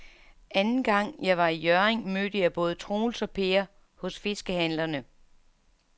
Anden gang jeg var i Hjørring, mødte jeg både Troels og Per hos fiskehandlerne.